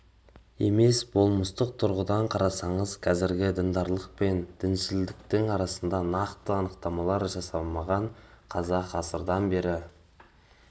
емес болмыстық тұрғыдан қарасаңыз қазіргі діндарлық пен діншілдіктің арасында нақты анықтамалар жасалмаған қазақ ғасырлардан бері